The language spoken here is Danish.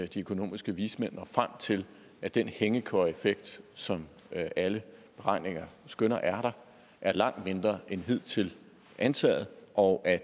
de økonomiske vismænd frem til at den hængekøjeeffekt som alle beregninger skønner er der er langt mindre end hidtil antaget og at